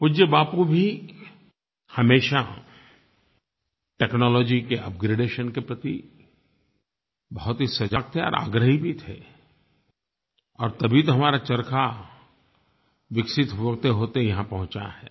पूज्य बापू भी हमेशा टेक्नोलॉजी के अपग्रेडेशन के प्रति बहुत ही सजग थे और आग्रही भी थे और तभी तो हमारा चरखा विकसित होतेहोते यहाँ पहुँचा है